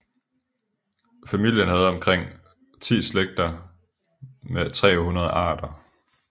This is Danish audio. Familien havde omkring 10 slægter med 300 arter